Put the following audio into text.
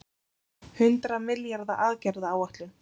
Hundrað milljarða aðgerðaáætlun